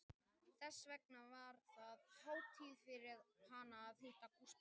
Þess vegna var það hátíð fyrir hana að hitta Gústaf